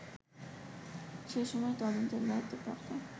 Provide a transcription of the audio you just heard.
সে সময় তদন্তের দায়িত্বপ্রাপ্ত